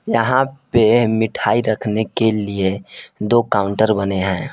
यहां पे मिठाई रखने के लिए दो काउंटर बने हैं।